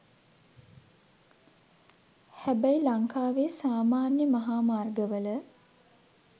හැබැයි ලංකාවේ සාමාන්‍ය මහා මාර්ගවල